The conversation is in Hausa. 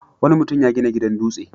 Wani mutum ya gina gidan dutse.